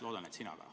Loodan, et sina ka.